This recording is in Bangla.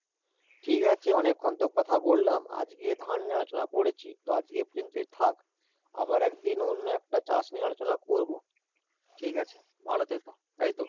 ঠিক আছে, অনেক্ষন তো কথা বললাম, আজকে ধান নিয়ে আলোচনা করেছি তো আজকে এই প্রযন্তই থাক আবার একদিন অন্য একটা চাষ নিয়ে আলোচনা করবো, ঠিক আছে? ভালো থেকো, তাই তো?